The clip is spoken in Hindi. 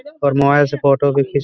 और मोबाइल से फोटो भी खीच--